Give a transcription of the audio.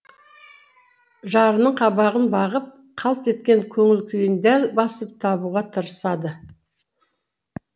жарының қабағын бағып қалт еткен көңіл күйін дәл басып табуға тырысады